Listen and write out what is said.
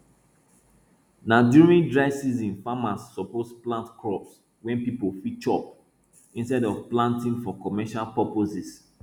na during dry season farmers suppose plant food crops wey people fit chop instead of planting for commercial purposes